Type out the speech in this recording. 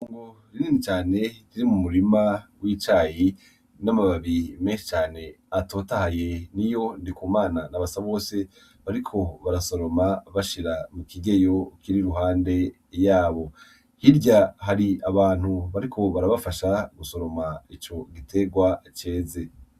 Itongo rinini cane ririmwo umurima w'icayi n'amababi menshi cane atotahaye niyo Ndikumana na Basabose bariko barasoroma bashira mu kigeyo kiri iruhande yabo hirya hari abantu bariko barabafasha gusoroma ico giterwa ceze.